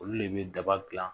Olu de bɛ daba dilan